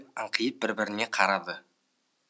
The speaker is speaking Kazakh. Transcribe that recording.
манюель аңқиып біріне бірі қарады